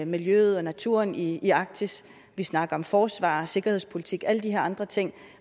miljøet og naturen i i arktis vi snakker om forsvar og sikkerhedspolitik alle de her andre ting